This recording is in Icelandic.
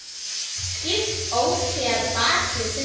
Skýst óséð bak við tunnu.